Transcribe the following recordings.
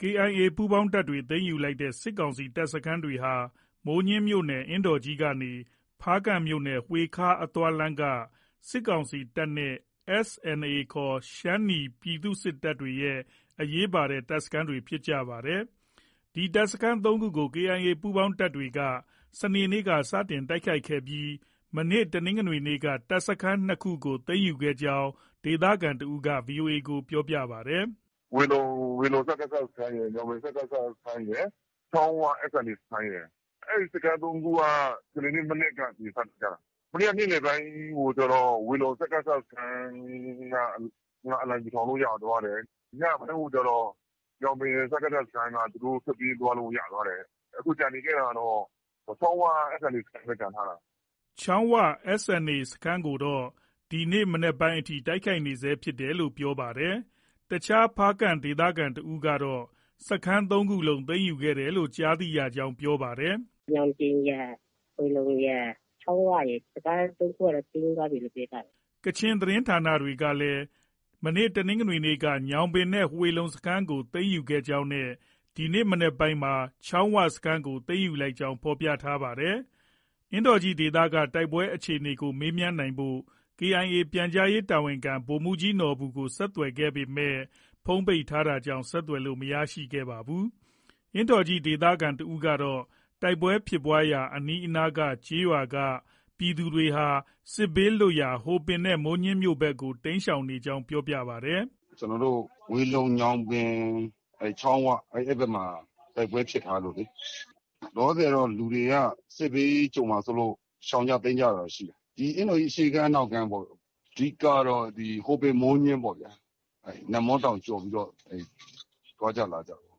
KIA ပူးပေါင်းတပ်တွေ သိမ်းယူလိုက်တဲ့ စစ်ကောင်စီတပ်စခန်းတွေဟာ မိုးညှင်းမြို့နယ် အင်းတော်ကြီးကနေ ဖားကန့်မြို့နယ် ဝှေခါ အသွားလမ်းက စစ်ကောင်စီတပ်နဲ့ SNA ခေါ် ရှမ်းနီ ပြည်သူ့စစ်တပ်တွေရဲ့ အရေးပါတဲ့ တပ်စခန်းတွေ ဖြစ်ပါတယ်။ ဒီတပ်စခန်း ၃ခုကို KIA ပူးပေါင်းတပ်တွေက စနေနေ့က စတင်တိုက်ခိုက်ခဲ့ပြီး တနင်္ဂနွေနေ့က တပ်စခန်း ၂ခုကို သိမ်းခဲ့ကြောင်း ဒေသခံတဦးက VOA ကို ပြောပါတယ်။ “ဝှေလုံ စကစစခန်းရယ်၊ ညောင်ပင် စကစစခန်းရယ်၊ ချောင်းဝ SNA စခန်းရယ်။ အဲဒီ စခန်း ၃ခုက စနေနေ့ မနက်ကနေ စတိုက်ကြတာ။ မနေ့က နေ့လည်ပိုင်းကျတော့ ဝှေလုံ စကစစခန်းက အလံဖြူထောင်လို့ ရသွားတယ်။ ညပိုင်းကို ကျတော့ ညောင်ပင် စကစစခန်းက သူတို့ ထွက်ပြေးသွားလို့ ရသွားတယ်။ အခု ကျန်နေခဲ့တာကတော့ ချောင်းဝ SNA စခန်းပဲ ကျန်ထားတာ။” ချောင်းဝ SNA စခန်းကိုတော့ ဒီနေ့ မနက်ပိုင်းထိ တိုက်ခိုက်နေဆဲဖြစ်တယ်လို့ ပြောပါတယ်။ အခြား ဖားကန့်ဒေသခံတဦးကတော့ စခန်း ၃ ခုလုံး သိမ်းယူတယ်လို့ ကြားသိရကြောင်း ပြောပါတယ်။ “ ညောင်ပင်ရယ်၊ ဝှေလုံရယ်၊ ချောင်းဝရယ် စခန်း ၃ခုကတော့ သိမ်းသွားပြီလို့ ပြောကြတယ်။ ” ကချင်သတင်းဌာနတွေကလည်း တနင်္ဂနွေနေ့က ညောင်ပင်နဲ့ ဝှေလုံစခန်းကို သိမ်းယူခဲ့ကြောင်းနဲ့ ဒီနေ့ မနက်ပိုင်းမှာ ချောင်းဝစခန်းကို သိမ်းယူလိုက်ကြောင်း ဖော်ပြထားပါတယ်။ အင်းတော်ကြီးဒေသက တိုက်ပွဲအခြေအနေကို မေးမြန်းနိုင်ဖို့ KIA ပြန်ကြားရေးတာဝန်ခံ ဗိုလ်မှုးကြီးနော်ဘူကို ဆက်သွယ်ခဲ့ပေမဲ့ ဖုန်း ပိတ်ထားတာကြောင်း ဆက်သွယ်လို့ မရခဲ့ပါဘူး။ အင်းတော်ကြီး ဒေသခံတဦးကတော့ တိုက်ပွဲဖြစ်ပွားရာအနီးအနားက ကျေးရွာက ပြည်သူတွေဟာ စစ်ဘေးလွတ်ရာ ဟိုပင်နဲ့ မိုးညှင်းမြို့ဘက်ကို တိမ်းရှောင်နေကြောင်း ပြောပါတယ်။ “ ကျနော်တို့ ဝှေလုံ၊ ညောင်ပင်၊ ချောင်း၀ အဲဒီဘက်မှာ တိုက်ပွဲဖြစ်ထားလို့လေ။ လောလောဆည်တော့ လောလောဆည်တော့ လူတွေက စစ်ဘေး ကြုံမှာစိုးလို့ ရှောင်ကြ တိမ်းကြတာတော့ ရှိတယ်။ ဒီအင်းတော်ကြီး အရှေ့ခြမ်း၊ အနောက်ခြမ်းပေါ့။ အဓိကကတော့ ဟိုပင်၊ မိုးညှင်းပေါ့ဗျာ။ နန့်မွန်းတောင်ကျော်ပြီးတော့ သွားကြ လာကြတာ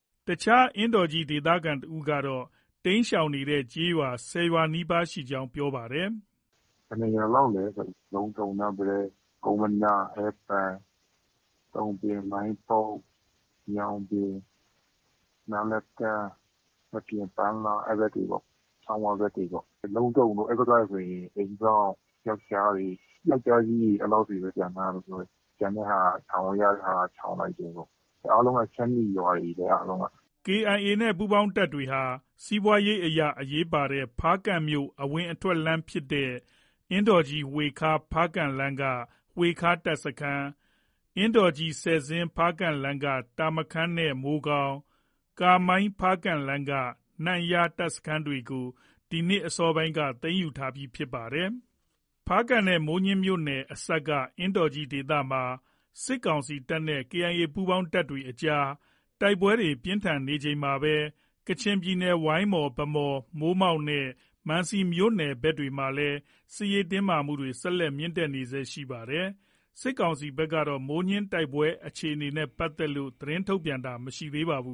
။ ” အခြားအင်းတော်ကြီး ဒေသခံတဦးကတော့ တိမ်းရှောင်နေတဲ့ ကျေးရွာ ၁၀ရွာနီးပါးရှိကြောင်း ပြောပါတယ်။ “ ဘယ်နှစ်ရွာလောက်လဲဆို လုံးတုံ၊ နန့်ပတဲ၊ ကုန်းမန၊ ဟဲပန်၊ တုံပေ၊ မိုင်းပုတ်၊ ညောင်ပင်၊ နားလတန်း၊ မပြင်၊ ပန်းလား အဲဒီဘက်တွေပေ့ါ။ ချောင်း၀ ဘက်တွေပေါ့။ လုံးတုံတို့ အဲဒီဘက်ကဆိုရင် အိမ်စောင့် ယောက်ျားတွေ၊ ယောက်ျားကြီးတွေ အဲလောက်တွေပဲ ကျန်ထားတာလို့ ပြောတယ်။ ကျန်တဲ့ဟာက ရှောင်လို့ ရတဲ့ဟာက ရှောင်လိုက်တယ်။ အားလုံးက ရှမ်းနီရွာတွေပဲ အားလုံးက။” KIA နဲ့ ပူးပေါင်းတပ်တွေဟာ စီးပွားရေးအရ အရေးပါတဲ့ ဖားကန့်မြို့ အဝင်အထွက်လမ်းဖြစ်တဲ့ အင်းတော်ကြီး- ဝှေခါ - ဖားကန့်လမ်းက ဝှေခါတပ်စခန်း၊ အင်းတော်ကြီး - ဆယ်ဇင်း - ဖားကန်လမ်းက တာမခန်နဲ့ မိုးကောင်း - ကာမိုင်း- ဖားကန့်လမ်းက နမ့်ယား တပ်စခန်းတွေကို ဒီနှစ်အစောပိုင်းမှာ သိမ်းယူထားခဲ့ပြီးလည်း ဖြစ်ပါတယ်။ ဖားကန့်နဲ့ မိုးညှင်းမြို့နယ်အစပ်က အင်းတော်ကြီးဒေသမှာ စစ်ကောင်စီတပ်နဲ့ KIA ပူးပေါင်းတပ်တွေအကြား တိုက်ပွဲပြင်းထန်နေချိန်မှာပဲ ကချင်ပြည်နယ် ဝိုင်းမော်၊ ဗန်းမော်၊ မိုးမောက်နဲ့ မန်စီ မြို့နယ်ဘက်တွေမှာလည်း စစ်ရေးတင်းမာမှုတွေ ဆက်လက် မြင့်တက်နေဆဲရှိနေပါတယ်။ စစ်ကောင်စီဘက်ကတော့ မိုးညှင်းတိုက်ပွဲအခြေအနေနဲ့ ပတ်သက်လို့ သတင်းထုတ်ပြန်ခြင်းမရှိသေးပါဘူး